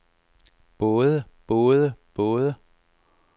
både både både